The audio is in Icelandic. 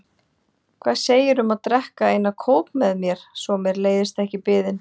Hvað segirðu um að drekka eina kók með mér svo mér leiðist ekki biðin?